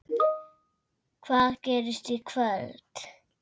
Hvað gerist í kvöld?